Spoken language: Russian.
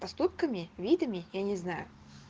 поступками видами я не знаю